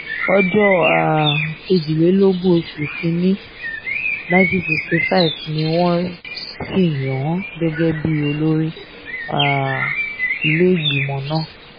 ọjọ́ um kejìdínlọ́gbọ̀n oṣù kìn-ín-ní 1965 ni wọ́n sì yàn án gẹ́gẹ́ bíi olórí um ilé-ìgbìmọ̀ náà